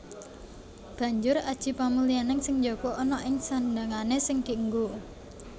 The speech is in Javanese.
Banjur aji pamulyaning sing njaba ana ing sandhangané sing dienggo